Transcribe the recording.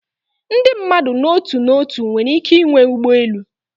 Ndị mmadụ n'otu n'otu nwere ike ịnwe ụgbọ elu